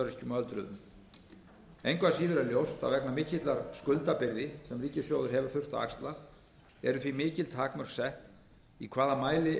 er ljóst að vegna mikillar skuldabyrði sem ríkissjóður hefur þurft að axla eru því mikil takmörk sett í hvaða mæli er unnt